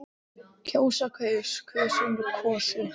kjósa- kaus- kusum- kosið